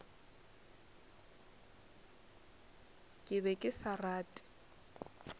ke be ke sa rate